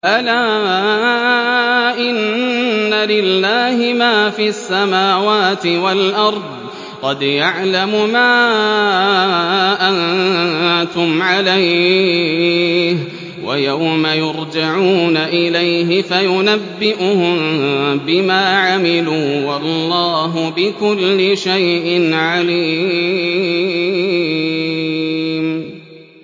أَلَا إِنَّ لِلَّهِ مَا فِي السَّمَاوَاتِ وَالْأَرْضِ ۖ قَدْ يَعْلَمُ مَا أَنتُمْ عَلَيْهِ وَيَوْمَ يُرْجَعُونَ إِلَيْهِ فَيُنَبِّئُهُم بِمَا عَمِلُوا ۗ وَاللَّهُ بِكُلِّ شَيْءٍ عَلِيمٌ